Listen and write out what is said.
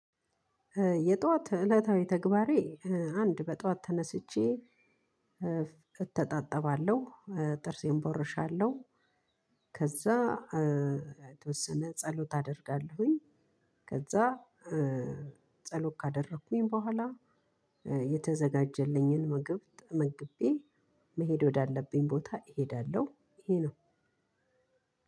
የጧት እለታዊ ተግባሬ አንድ በጧት ተነስቼ እተጣጠባለሁ ጥርሴን ቦርሻለሁ ከዛ የተወሰነ ጸሎት አደርጋለሁኝ ከዛ ጸሎት ካደረኩኝ በኋላ የተዘጋጀልኝን ምግብ ተመግቤ መሄድ ወዳለብኝ ቦታ እሄዳለሁ። ይሄ ነው።